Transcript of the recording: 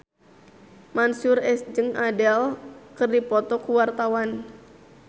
Mansyur S jeung Adele keur dipoto ku wartawan